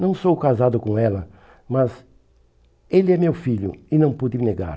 Não sou casado com ela, mas ele é meu filho e não pude negar.